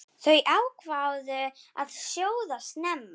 Þær ákváðu að sjóða snemma.